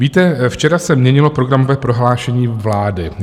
Víte, včera se měnilo programové prohlášení vlády.